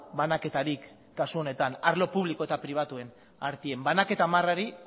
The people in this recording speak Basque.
banaketarik kasu honetan arlo publiko eta pribatuen artean banaketa marra hori